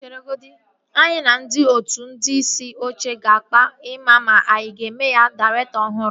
Chere godi. Anyị na ndị otu ndị isi oche ga-akpa ị maa ma anyị a ga-eme ya dairektọ ọhụrụ